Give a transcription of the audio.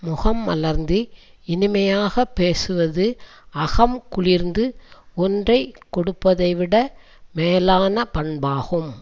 முகம் மலர்ந்து இனிமையாக பேசுவது அகம் குளிர்ந்து ஒன்றை கொடுப்பதை விட மேலான பண்பாகும்